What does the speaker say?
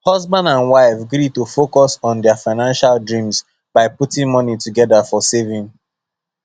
husband and wife gree to focus on their financial dreams by putting money together for saving